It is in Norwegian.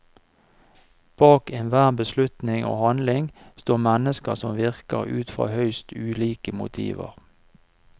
Bak enhver beslutning og handling står mennesker som virker ut fra høyst ulike motiver.